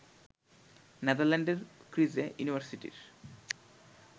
নেদারল্যান্ডের Vrije ইউনিভার্সিটির